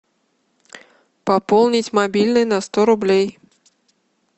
пополнить мобильный на сто рублей